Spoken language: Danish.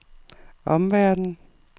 omverdenen